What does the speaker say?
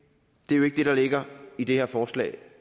det er jo ikke det der ligger i det her forslag